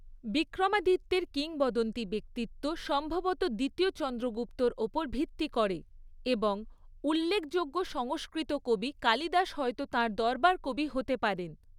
বিক্রমাদিত্যের কিংবদন্তি ব্যক্তিত্ব সম্ভবত দ্বিতীয় চন্দ্রগুপ্তর ওপর ভিত্তি করে এবং উল্লেখযোগ্য সংস্কৃত কবি কালিদাস হয়তো তাঁর দরবার কবি হতে পারেন।